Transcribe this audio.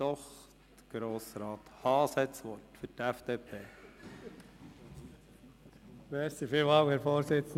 Doch, Grossrat Haas hat das Wort für die FDP-Fraktion.